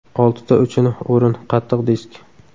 Oltita uchinchi o‘rin – qattiq disk.